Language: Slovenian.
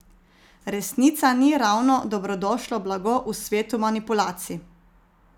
Resnica ni ravno dobrodošlo blago v svetu manipulacij.